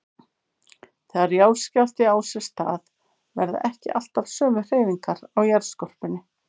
Þegar jarðskjálfti á sér stað verða ekki alltaf sömu hreyfingar á jarðskorpunni.